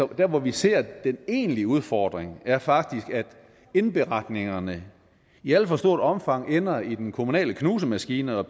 der hvor vi ser den egentlige udfordring er faktisk at indberetningerne i alt for stort omfang ender i den kommunale knusemaskine og